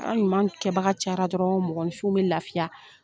Na ɲuman kɛ baga cayara dɔrɔn mɔgɔnfin bɛ lafiya.